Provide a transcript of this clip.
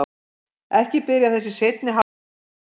Ekki byrjar þessi seinni hálfleikur vel!